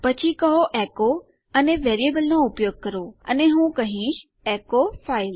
પછી કહો એચો અને વેરિયેબલ નો ઉપયોગ કરો અને હું કહીશ એચો ફાઇલ